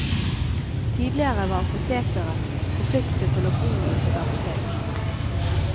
Tidligere var apotekeren forpliktet til å bo i sitt apotek.